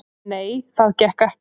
"""Nei, það gekk ekki."""